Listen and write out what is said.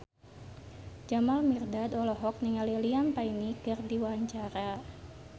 Jamal Mirdad olohok ningali Liam Payne keur diwawancara